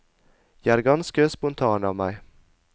Jeg er ganske spontan av meg.